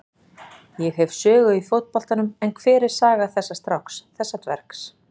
Ég hef sögu í fótboltanum en hver er saga þessa stráks, þessa dvergs?